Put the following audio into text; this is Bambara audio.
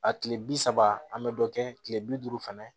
A tile bi saba an bɛ dɔ kɛ kile bi duuru fana